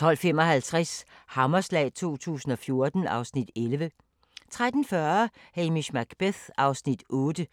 12:55: Hammerslag 2014 (Afs. 11) 13:40: Hamish Macbeth (8:20)